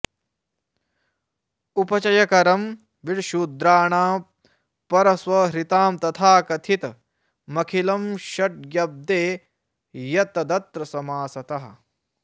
उपचयकरं विट्शूद्राणां परस्वहृतां तथा कथितमखिलं षष्ट्य्गब्दे यत् तदत्र समासतः